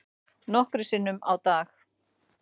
Nokkrum sinnum á dag.